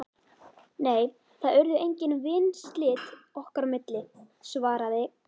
Nei, það urðu engin vinslit okkar á milli- svaraði